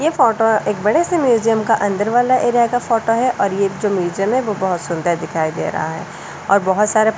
ये फोटो एक बड़े से म्यूजियम का अंदर वाला एरिया का फोटो है और ये जो म्यूजियम है वो बहुत सुंदर दिखाई दे रहा है और बहुत सारे --